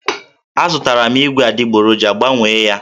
Azụtara m ígwè adịgboroja, Gbanwee ya!